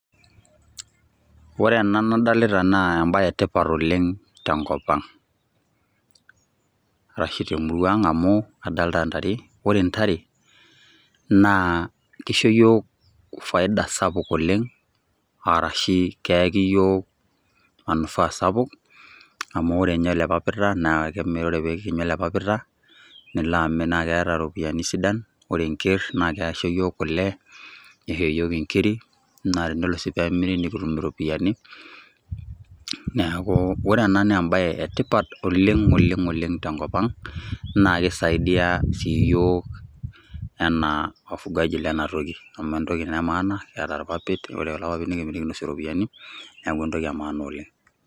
Ore ena nadolita naa embaye e tipat oleng' tenkop ang' arashe te murua ang' amu kadolta intare, ore ntare naa kisho yiok faida sapuk oleng' arashe keyaki yiok manufaa sapuk amu ore nye ele papita naake imir ore pee kitum ele papita naake kimir nilo amir, naake eeta ropiani sidan. Ore enker naake isho yiok kule, nisho yiok nkirik, naa enidol sii peemiri nikitum iropiani. Neeku ore ena naa embaye e tipat oleng' oleng' oleng' tenkop ang' naake isaidia sii iyiok enaa [cs wafugaji lena toki amu entoki naa e maana neata irpapit ore kulo papit nekimir nekinosie ropiani, neeku entoki e maana oleng'.